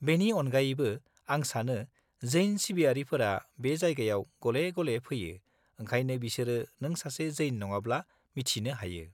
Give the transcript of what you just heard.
-बेनि अनगायैबो आं सानो जैन सिबियारिफोरा बे जायगायाव गले-गले फैयो ओंखायनो बिसोरो नों सासे जैन नङाब्ला मिथिनो हायो।